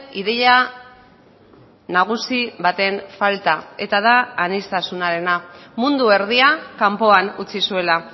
ideia nagusi baten falta eta da aniztasunarena mundu erdia kanpoan utzi zuela